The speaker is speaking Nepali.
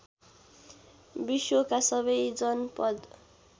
विश्वका सबै जनपद